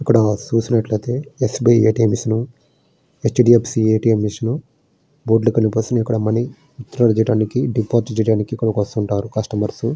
ఇక్కడ చూసినట్లయితే SBI ATM machine కనిపిస్తుంది. హెచ్డిఎఫ్సి ఏటీఎం మెషిన్ ఎక్కడ మనీ స్టోర్ చేయడానికి డిపాజిట్ చేయడానికి ఇక్కడికి వస్తూ ఉంటారు.